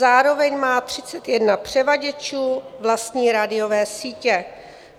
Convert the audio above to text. Zároveň má 31 převaděčů vlastní rádiové sítě.